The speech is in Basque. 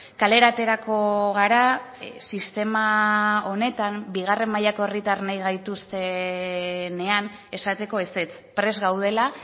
kalera aterako gara sistema honetan bigarren mailako herritar nahi gaituztenean esateko ezetz prest gaudela